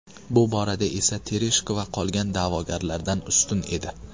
Bu borada esa Tereshkova qolgan da’vogarlardan ustun edi.